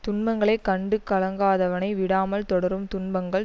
துன்பங்களை கண்டு கலங்காதவனை விடாமல் தொடரும் துன்பங்கள்